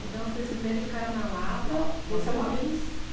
Então, vocês primeiro ficaram na Lapa, na Lapa depois